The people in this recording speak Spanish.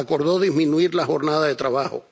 Acordó disminuir la jornada de trabajo.